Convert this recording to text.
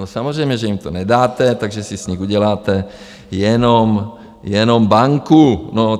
No samozřejmě, že jim to nedáte, takže si z nich uděláte jenom banku.